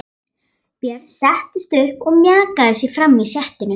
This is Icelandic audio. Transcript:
Björn settist upp og mjakaði sér fram í setinu.